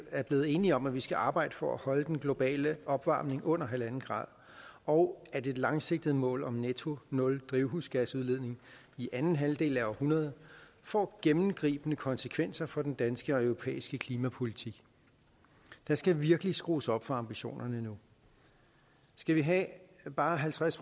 er blevet enige om at vi skal arbejde for at holde den globale opvarmning under en grader og at et langsigtet mål om netto nul drivhusgasudledning i anden halvdel af århundredet får gennemgribende konsekvenser for den danske og europæiske klimapolitik der skal virkelig skrues op for ambitionerne nu skal vi have bare halvtreds